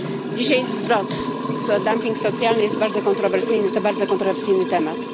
Dzisiaj zwrot dumping socjalny jest bardzo kontrowersyjny, to bardzo kontrowersyjny temat.